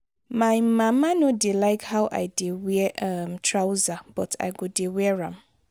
my mama no dey like how i dey wear um trouser but i go dey wear am